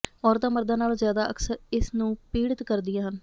ਔਰਤਾਂ ਮਰਦਾਂ ਨਾਲੋਂ ਜ਼ਿਆਦਾ ਅਕਸਰ ਇਸ ਨੂੰ ਪੀੜਿਤ ਕਰਦੀਆਂ ਹਨ